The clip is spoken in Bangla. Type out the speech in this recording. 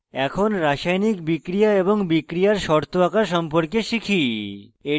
এখন রাসায়নিক বিক্রিয়া এবং বিক্রিয়ার শর্ত আঁকা সম্পর্কে শিখি